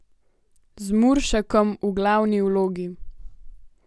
Z Muršakom v glavni vlogi!